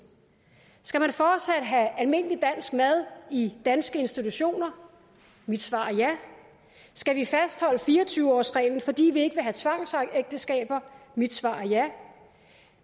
skal man fortsat have almindelig dansk mad i danske institutioner mit svar er ja skal vi fastholde fire og tyve årsreglen fordi vi ikke vil have tvangsægteskaber mit svar er ja